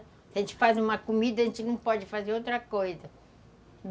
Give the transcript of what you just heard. Se a gente faz uma comida, a gente não pode fazer outra coisa.